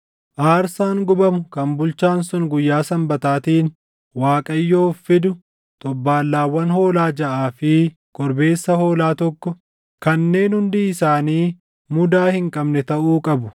Aarsaan gubamu kan bulchaan sun guyyaa Sanbataatiin Waaqayyoof fidu xobbaallaawwan hoolaa jaʼaa fi korbeessa hoolaa tokko, kanneen hundi isaanii mudaa hin qabne taʼuu qabu.